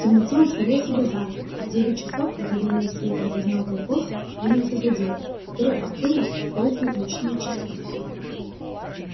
в темноте он сварил себе завтрак а в девять часов когда дневной свет разогнал волков принялся за дело которое обдумал в долгие ночные часы